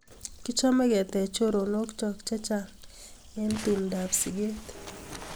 Kichome ketach choronok chok chechang' eng' tumndap siget